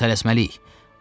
Onda tələsməliyik.